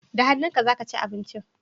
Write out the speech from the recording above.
Da hannunka za ka ci abinci?